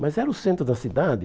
Mas era o centro da cidade?